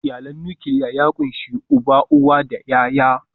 Iyalin nukiliya ya ƙunshi uba, uwa da ’ya’ya.